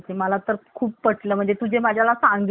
तुझे मला सांगितले camera चे महत्व